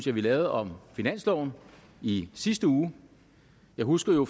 vi lavede om finansloven i sidste uge jeg husker jo